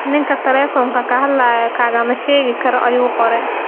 Ninka taleefoonka ka hadlaya kaagama sheegi karo, ayuu qoray.